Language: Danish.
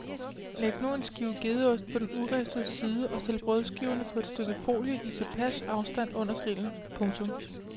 Læg nu en skive gedeost på den uristede side og stil brødskiverne på et stykke folie i tilpas afstand under grillen. punktum